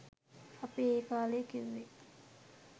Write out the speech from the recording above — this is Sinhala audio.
අපි ඒ කාලෙ කිව්වෙ